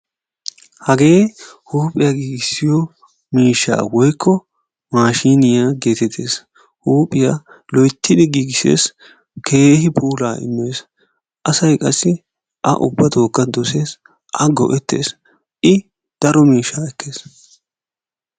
Hagee huuphiyaa gigisiyo miishshaa woykko maashiniyaa getetees. Huuphiyaa loyttidi gigisees; keehi puulaa immees. Asay qassi A ubbatokka dosees; A go'etees. I daro miishshaa ekkees.